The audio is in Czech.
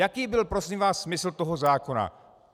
Jaký byl prosím vás smysl toho zákona?